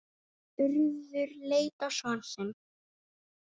Urður leit á son sinn.